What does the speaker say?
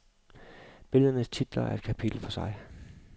Billedernes titler er et kapitel for sig.